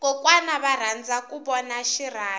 kokwana va rhandza ku vona xiyamimoya